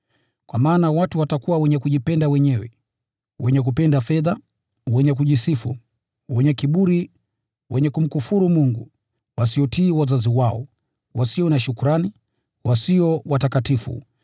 Kwa maana watu watakuwa wenye kujipenda wenyewe, wenye kupenda fedha, wenye kujisifu, wenye kiburi, wenye kumkufuru Mungu, wasiotii wazazi wao, wasio na shukrani, wasio watakatifu,